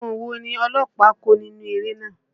Àwọn wo ni ọlọ́pàá kó nínú eré náà?